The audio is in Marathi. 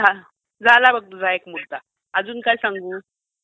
हा. झालं बघ तुझा एक मुद्दा. अजून काय सांगू?